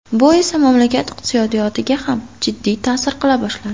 Bu esa mamlakat iqtisodiyotiga ham jiddiy ta’sir qila boshladi.